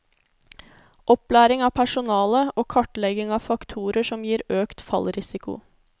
Opplæring av personale og kartlegging av faktorer som gir økt fallrisiko.